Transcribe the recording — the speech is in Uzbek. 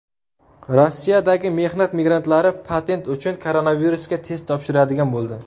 Rossiyadagi mehnat migrantlari patent uchun koronavirusga test topshiradigan bo‘ldi.